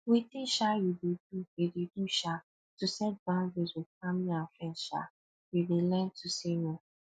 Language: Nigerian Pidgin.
wetin um you dey do you dey do um to set boundaries with family and friends um you dey learn to say no